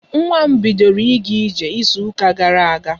Nwa m bidoro ịga ije izu ka gara aga.